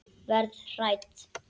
Verð hrædd.